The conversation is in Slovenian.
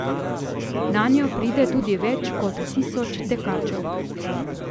Nanjo pride tudi več kot tisoč tekačev.